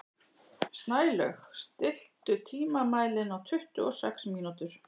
Snælaug, stilltu tímamælinn á tuttugu og sex mínútur.